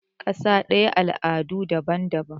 kasa daya al'adu daban-daban